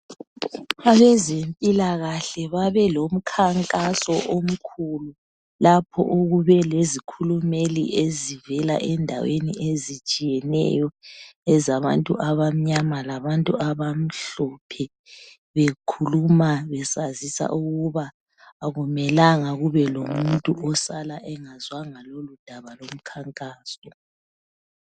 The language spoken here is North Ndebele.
Abazempilakahle babe lomkhankaso omkhulu, lapho okube lezikhulumeli ezivela endaweni ezitshiyeneyo ezabantu abamnyama labantu abamhlophe, bekhuluma besazisa ukuba akumelanga kube lomuntu osala engazwanga ngendaba yomkhankaso.